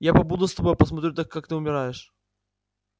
я побуду с тобой посмотрю как ты умираешь